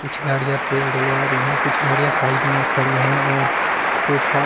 कुछ गड़ियां तेल डलवा रही हैं कुछ गाड़ियां साइड में खड़ी हैं और इसके सा